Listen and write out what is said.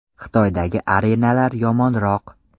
Xitoydagi arenalar yomonroq.